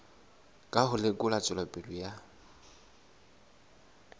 ka ho lekola tswelopele ya